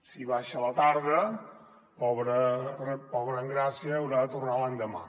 si baixa a la tarda pobra engràcia haurà de tornar l’endemà